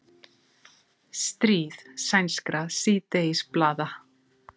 Stríð sænskra síðdegisblaða